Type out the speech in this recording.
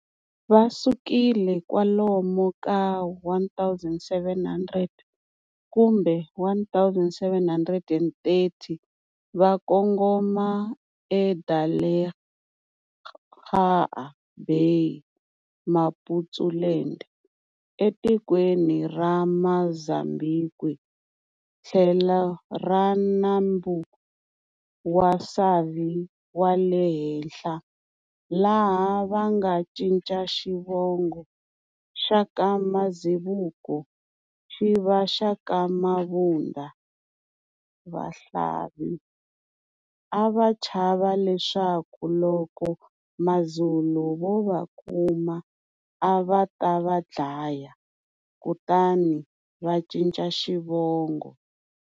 Va sukile kwalomu ka 1700 kumbe 1730 vakongoma e Delagoa Baymaputsuland, etikweni ra Muzambhiki thlelo ra nambu wa Savi wale henhla, laha vanga ncica xivongo xaka Mazibuko xiva xaka Mabunda Vahlavi, ava chava leswaku loko MaZulu vo va kuma ava ta va dlaya, kutani va ncica Xivongo.